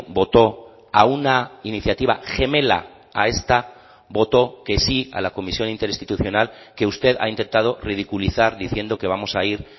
votó a una iniciativa gemela a esta votó que sí a la comisión interinstitucional que usted ha intentado ridiculizar diciendo que vamos a ir